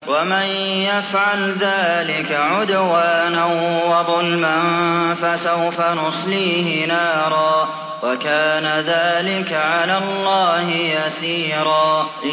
وَمَن يَفْعَلْ ذَٰلِكَ عُدْوَانًا وَظُلْمًا فَسَوْفَ نُصْلِيهِ نَارًا ۚ وَكَانَ ذَٰلِكَ عَلَى اللَّهِ يَسِيرًا